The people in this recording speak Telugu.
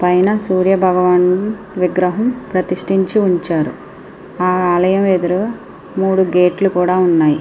పైన సూర్య భగవాన్ విగ్రహం ప్రతిష్టించి ఉంచారు. ఆలయం ఎదురు మూడు గేట్ లు కూడా ఉన్నాయి.